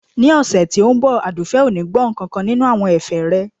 Ní ọ̀sẹ̀ tí ó ń bọ̀ Àdùfẹ̀ ò ní gbọ́ nkankan nínú àwọn ẹ̀fẹ̀ rẹ